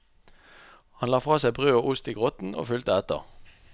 Han la fra seg brød og ost i grotten og fulgte etter.